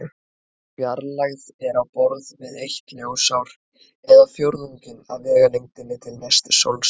Sú fjarlægð er á borð við eitt ljósár eða fjórðunginn af vegalengdinni til næstu sólstjörnu.